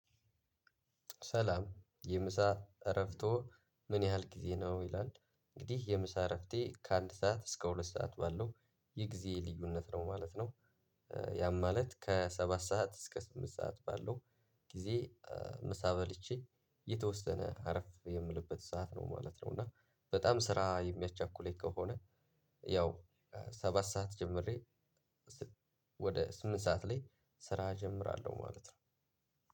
ሰላም የምሳ እረፍቶ ምን ያህል ጊዜ ነው? ይላል እንግዲህ የምሳ እረፍቴ ከአንድ ሰዓት እስከ ሁለት ሰዓት ባለው የጊዜ ልዩነት ነው ማለት ነው። ያም ማለት ከሰባት ሰዓት እስክ ስምንት ሰዓት ባለው ጊዜ። ምሳ በልቼ የተወሰነ አረፍ የምልበት ሰዓት ነው ማለት ነው። እና በጣም ስራ የሚያቻኩለኝ ከሆነ ያው ሰባት ሰዓት ጀምሬ። ወደ ስምንት ሰዓት ላይ ስራ እጀምራለሁ ማለት ነው።